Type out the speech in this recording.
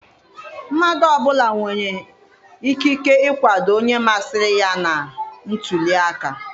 Mmadụ ọbụla nwere ikike ikwado onye masịrị ya na ntuliaka.